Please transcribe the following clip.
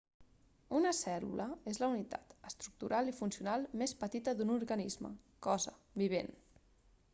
una cèl·lula és la unitat estructural i funcional més petita d'un organisme cosa vivent